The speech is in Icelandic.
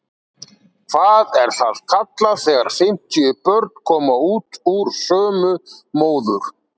Hvað er það kallað þegar fimmtíu börn koma út úr sömu móður?